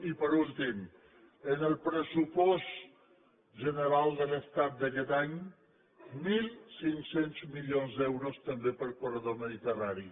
i per últim en el pressupost general de l’estat d’aquest any mil cinc cents milions d’euros també per al corredor mediterrani